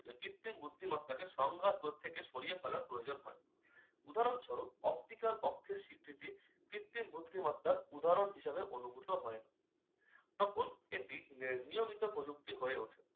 কৃত্রিম বুদ্ধিমত্তাকে সংঘাত পথ থেকে সরিয়ে ফেলার প্রয়োজন হয়। উদাহরণস্বরূপ- optical অক্ষের স্বীকৃতি কৃত্রিম বুদ্ধিমত্তার উদাহরণ হিসাবে অনুভূত হয়। তখন এটি নি~ নিয়মিত প্রযুক্তি হয়ে ওঠে